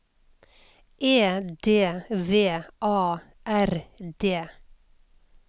E D V A R D